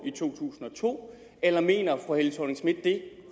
i to tusind og to eller mener fru helle thorning schmidt det